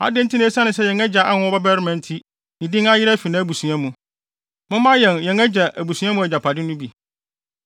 Adɛn nti na esiane sɛ yɛn agya anwo ɔbabarima nti ne din ayera fi nʼabusua mu? Momma yɛn yɛn agya abusua mu agyapade no bi.”